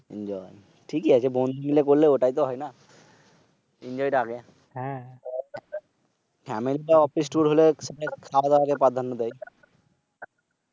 Enjoy ঠিকই আছে বন্ধুরা মিলে করলে ওটাই তো হয় না? Enjoy টা আগে। আমি তো অফিস Tour হলে স্যাররা আগে পাধান্য দেয়।